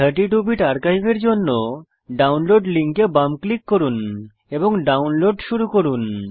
32 bit archive এর জন্য download লিঙ্কে বাম ক্লিক করুন এবং ডাউনলোড শুরু করুন